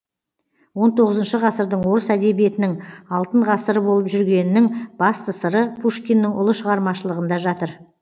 он тоғызыншы ғасырдың орыс әдебиетінің алтын ғасыры болып жүргенінің басты сыры пушкиннің ұлы шығармашылығында жатыр